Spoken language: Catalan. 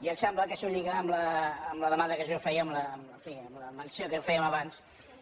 i em sembla que això lliga amb la demanda que jo feia en fi amb la menció que fèiem abans